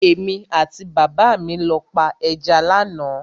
Èmi àti bàbá mi lọ pa ẹja lánàá.